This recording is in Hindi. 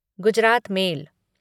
गुजरात मेल